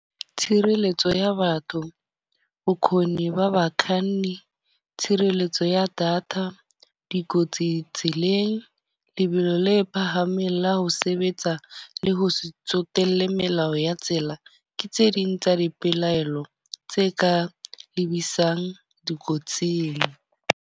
Tshireletso ya batho, bokhoni ba bakhani, tshireletso ya data, dikotsi tseleng, lebelo le phahameng la ho sebetsa le ho se tsotelle melao ya tsela. Ke tse ding tsa dipelaelo tse ka lebisang dikotsing.